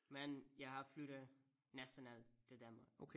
Men jeg har flyttet næsten alt til Danmark